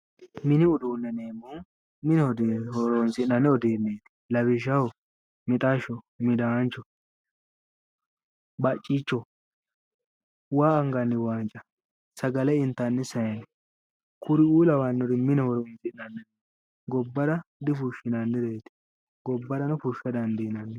Mini uduune yinneemmohu mine horonsi'nanni. uduuneti lawishshaho mixasho, midaancho, bacicho, waa anganni wanca, sagale intanni zayine kuriu kawanori mine horonsi'nanni gobbara difushinannireti, gobbarano fushsha dandiinanni